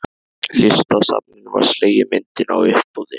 Listasafninu var slegin myndin á uppboði.